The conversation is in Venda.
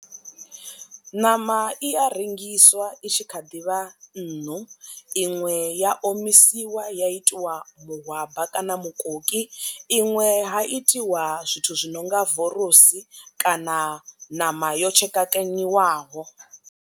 Ṋama i a rengiswa i tshi kha ḓivha nṋu iṅwe ya omisiwa ya itiwa mahwaba kana mukoki iṅwe ha itiwa zwithu zwi nonga vorosi kana ṋama yo tshekekanyiwaho.